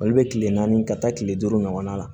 Olu bɛ kile naani ka taa kile duuru ɲɔgɔnna la